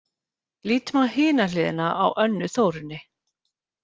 Lítum á hina hliðina á Önnu Þórunni: